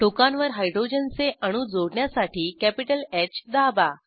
टोकांवर हायड्रोजनचे अणू जोडण्यासाठी कॅपिटल ह दाबा